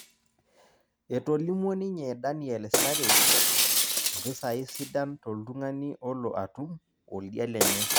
Etolimuo ninye Daniel starij Mpisai sidan Toldung'ani olo atum Oldia lenye